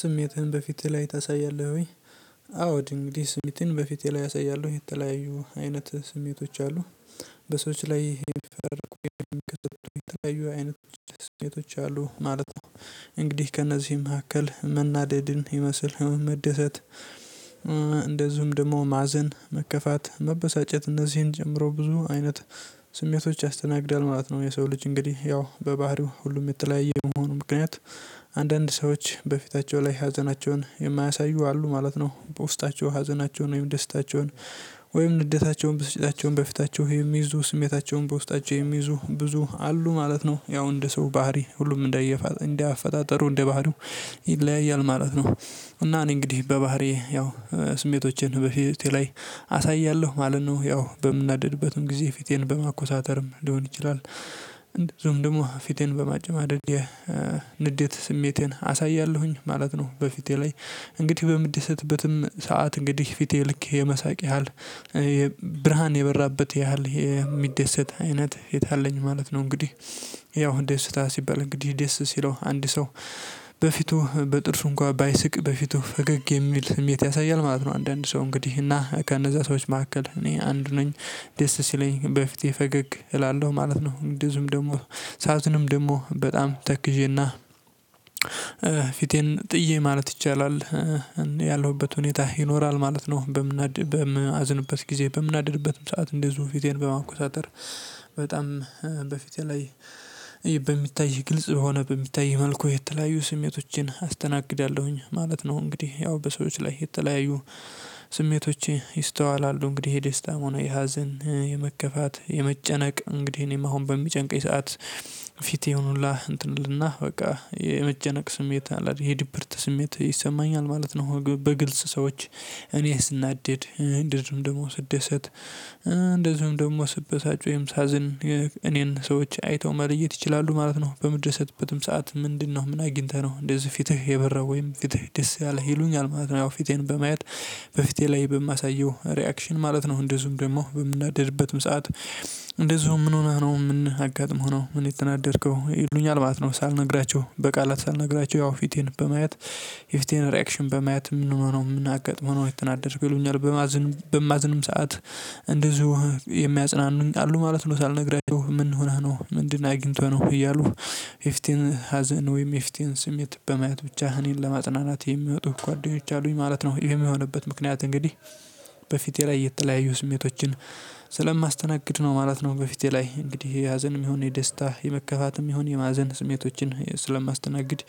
ስሜትህን በፊትህ ላይ ታሳያለህ ወይ? አዎ እንግዲህ ስሜትን በፊቴ ላይ አሳያለሁ የተለያዩ አይነት ስሜቶች አሉ። በሰዎች ላይ ይፈርቁ ይፈርቁ ተለያዩ አይነቶች ስሜቶች አሉ ማለት ነው። እንግዲህ ከእነዚህ መካከል መናደድን ይመስል መደሰት ደግሞ ማዘን መከፋት መበሳጨት እነዚህን ጨምሮ ብዙ አይነት ስሜቶች ያስተናግዳል ማለት ነው። የሰው ልጅ እንግዲህ ያው በባህሪው ሁሉም የተለያየ የመሆኑ ምክንያት አንዳንድ ሰዎች በፊታቸው ላይ ሀዘናቸውን የማያሳዩ አሉ ማለት ነው። በውስጣቸው ሀዘናቸውን ወይም ደስታቸውን ወይም ንደታቸውን ብስጫቸውን በፊታቸው የሚይዙ ስሜታቸውን በውስጣቸው የሚይዙ ብዙ አሉ ማለት ነው። ያው እንደ ሰው ባህሪ ሁሉም እንደ እየ እንደ አፈጣጠሩ እንደ ባህሪው ይለያያል ማለት ነው። እና እኔ እንግዲህ በባህሪዬ ያው ስሜቶቼን በፊት ላይ አሳያለሁ ማለት ነው። ያው በምናደድበትም ጊዜ ፊቴን በማኮሳተርም ሊሆን ይችላል እንደዚሁም ደግሞ ፊቴን በማጨማደድ ንዴት ስሜቴን አሳያለሁኝ ማለት ነው። በፊቴ ላይ እንግዲህ በምደሰበትም ሰዓት እንግዲህ ፊቴ ልክ የመሳቅ ያህል ብርሃን የበራበት ያህል የሚደሰት አይነት የት አለኝ ማለት ነው። እንግዲህ ያው ደስታ ሲባል እንግዲህ ደስ ሲለው አንድ ሰው በፊቱ በጥርሱ እንኳን ባይስቅ በፊቱ ፈገግ የሚል ስሜት ያሳያል ማለት ነው። አንዳንድ ሰው እንግዲህ እና ከነዛ ሰዎች መካከል እኔ አንዱ ነኝ። ደስ ሲለኝ በፊቴ ፈገግ እላለሁ ማለት ነው። እንዚሁም ደግሞ ሰአቱንም ደግሞ በጣም ተክዤና ፊቴን ጥዬ ማለት ይቻላል ያለሁበት ሁኔታ ይኖራል ማለት ነው። በማዝንበት ጊዜ በምናደድበትም ሰዓት እንደዚሁ ፊቴን በማንኮሳተር በጣም በፊቴ ላይ በሚታይ ግልጽ ሆነ በሚታይ መልኩ የተለያዩ ስሜቶችን አስተናግዳለሁኝ ማለት ነው። እንግዲህ ያው በሰዎች ላይ የተለያዩ ስሜቶቼ ይስተዋላሉ እንግዲህ የደስታም ሆነ የሀዘን የመከፋት የመጨነቅ እንግዲህ እኔም አሁን በሚጨንቀኝ ሰዓት ፊቴ ይሁኑላህ እንትን እልና በቃ የመጨነቅ ስሜት አለ የድብርት ስሜት ይሰማኛል ማለት ነው። በግልጽ ሰዎች እኔ ስናደድ እንደዚሁም ደግሞ ስደሰት እንደዚሁም ደግሞ ስበሳጭ ወይም ሳዝን እኔን ሰዎች አይተው መለየት ይችላሉ ማለት ነው። በመደሰትበትም ሰዓት ምንድነው? ምን አግኝተህ ነው እንደዚህ ፊትህ የበራው ወይም ፊትህ ደስ ያለህ ይሉኛል ማለት ነው። ያው ፊቴን በማየት በፊቴ ላይ በማሳየው ሪአክሽን ማለት ነው እንደዚሁም ደግሞ በምናደድበትም ሰዓት። እንደዝሁም ምን ሆነህ ነው? ምን አጋጥሞህ ነው? ምን የተናደድከው ይሉኛል? ማለት ነው። ሳልነግራችሁ በቃላት ሳልነግራችሁ ያው ፊቴን በማየት የፊቴን ሪአክሽን በማየት ምንሆነው ምናጋጥሞህ ነው የተናደድከው ይሉኛል። በማዝንም ሰዓት እንደዚሁ የሚያጽናኑኝ አሉ ማለት ነው። ሳልነግራችሁ ምን ሆነህ ነው? ምንድን አግኝቶህ ነው? እያሉ የፊቴን ሀዘን ወይም የፊቴን ስሜት በማየት ብቻ እኔን ለማጽናናት የሚወጡ ጓደኞች አሉኝ ማለት ነው። ይሄ የሆነበት ምክንያት እንግዲህ በፊቴ ላይ የተለያዩ ስሜቶችን ስለማስተናግድ ነው ማለት ነው። በፊቴ ላይ እንግዲህ የሀዘንም ይሁን የደስታ የመከፋትም ይሁን የማዘን ስሜቶችን ስለማስተናግድ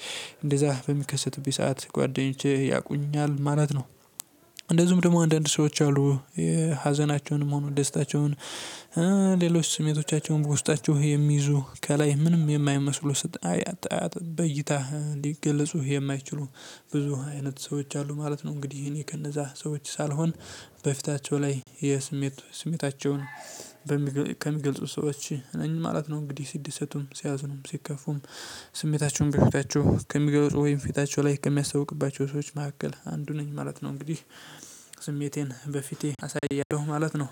እንደዛ በሚከሰትብኝ ሰዓት ጓደኞቼ ያውቁኛል ማለት ነው። እንደዚሁም ደግሞ አንዳንድ ሰዎች አሉ የሀዘናቸውን ሆነ ደስታቸውን ሌሎች ስሜቶቻቸውን በውስጣቸው የሚይዙ ከላይ ምንም የማይመስሉ ስጣያት በእይታ ሊገልጹ የማይችሉ ብዙ አይነት ሰዎች አሉ ማለት ነው። እንግዲህ እኔ ከነዛ ሰዎች ሳልሆን በፊታቸው ላይ የስሜት ስሜታቸውን ሰዎች እኔ ማለት ነው እንግዲህ ሲደሰቱም ሲያዝኑም ሲከፉም ስሜታቸውን በፊታቸው ከሚገለጹ ወይም ፊታቸው ላይ ከሚያስታውቅባቸው ሰዎች መካከል አንዱ ነኝ ማለት ነው። እንግዲህ ስሜቴን በፊቴ አሳያለሁ ማለት ነው።